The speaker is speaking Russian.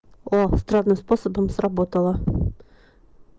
о странным способом сработало